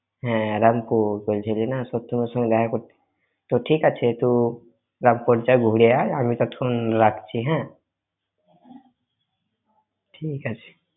হ্যাঁ, রামপুর, বলছিলি না এর সাথে দেখা করতে তো ঠিক আছে তুই রামপুর যা ঘুরে আয়, আমি এখন রাখছি হ্যাঁ? ঠিক আছে।